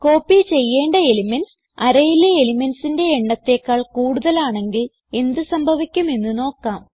copy ചെയ്യേണ്ട elements arrayയിലെ elementsന്റെ എണ്ണത്തേക്കാൾ കൂടുതലാണെങ്കിൽ എന്ത് സംഭവിക്കും എന്ന് നോക്കാം